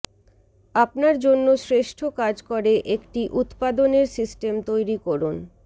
আপনার জন্য শ্রেষ্ঠ কাজ করে একটি উত্পাদনের সিস্টেম তৈরি করুন